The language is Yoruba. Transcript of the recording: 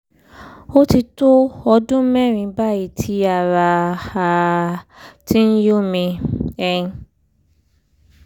ó ti tó ọdún mẹ́rin báyìí tí ará um ti ń yún mi um